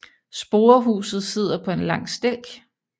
Sporehuset sidder på en lang stilk